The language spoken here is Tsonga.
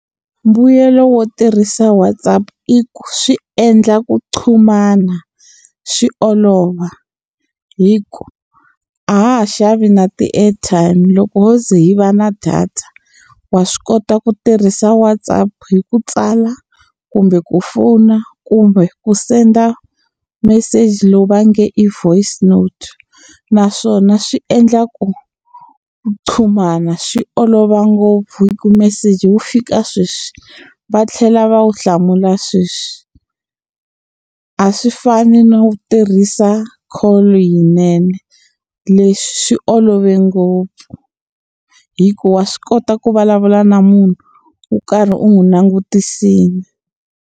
Mbuyelo wo tirhisa WhatAapp i ku swi endla ku qhumana swi olova hi ku a ha ha xavi na ti-airtime loko wo ze hi va na data wa swi kota ku tirhisa WhatsApp hi ku tsala kumbe ku fona kumbe ku senda meseji lowu va nge i voice note naswona swi endla ku qhumana swi olova ngopfu hi ku meseji wu fika sweswi va tlhela va wu hlamula sweswi a swi fani no tirhisa call yinene leswi swi olove ngopfu hikuva wa swi kota ku vulavula na munhu wo karhi u n'wi langutisile.